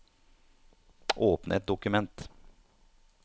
Åpne et dokument